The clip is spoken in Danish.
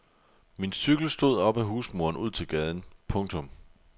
Min cykel stod op ad husmuren ud til gaden. punktum